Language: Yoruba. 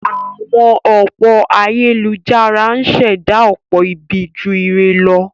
Àwọn òpó ayélujára ń ṣẹ̀dá ọ̀pọ̀ ibi ju ire lọ.